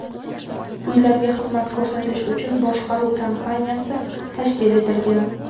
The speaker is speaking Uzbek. Uylarga xizmat ko‘rsatish uchun boshqaruv kompaniyasi tashkil etilgan.